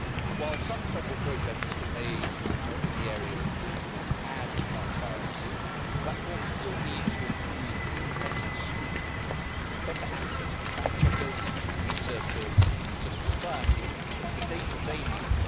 While some credible progress has been made in the area of political ad transparency, platforms still need to improve independent scrutiny through better access for fact-checkers, researchers and civil society to the data they need.